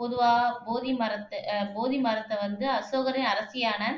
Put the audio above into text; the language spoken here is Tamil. பொதுவா போதி மரத்தை அஹ் போதி மரத்தை வந்து அசோகரின் அரசியான